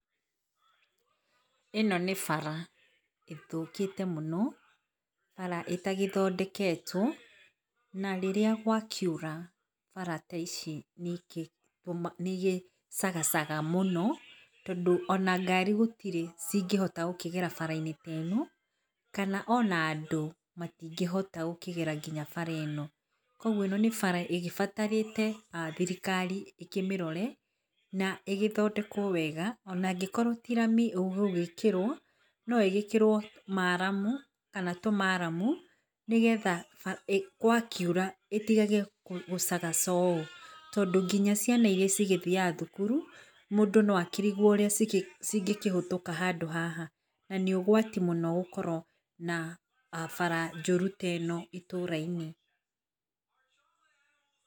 ĩno nĩ bara ĩthũkĩte mũno bara ĩtagĩthondeketwo na rĩrĩa gwakiura bara ta ici nĩ igĩcagacaga mũno tondũ, ona ngari gũtirĩ ingĩhota gũkĩgera bara inĩ ta ĩno kana ona andũ matingĩhota gũkĩgera nginya bara ĩno. Koguo ĩno nĩ bara lgĩbatarĩte thirikari ĩkĩmĩrore na ĩgĩthondekwo wega angĩkorwo ti rami ĩgũgĩkĩrwo na ĩgĩkĩrwo maramu kana tũnaramu nĩgetha gwakiura ĩtigage gũcagaca ũũ. Tondũ nginya ciana irĩa ĩgĩthiaga thukuru mũndũ no akĩrigwo ingĩkĩhũtũka handũ haha nanĩ ũgwati mũno gũkorwo na bara njũru ta ĩno itũrainĩ.